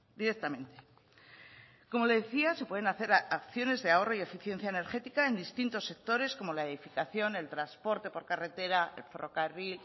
directamente como le decía se pueden hacer acciones de ahorro y eficiencia energética en distintos sectores como la edificación el transporte por carretera el ferrocarril